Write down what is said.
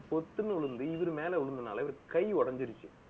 பொத்துன்னு விழுந்து, இவரு மேல விழுந்ததுனால, இவருக்கு கை உடைஞ்சிருச்சு